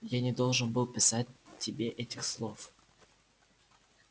я не должен был писать тебе этих слов